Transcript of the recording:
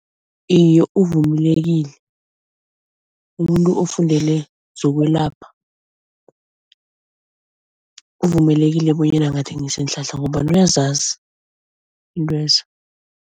Iye uvumelekile umuntu ofundele zokwelapha, uvumelekile bonyana angathengisa iinhlahla ngombana uyazazi iintwezo.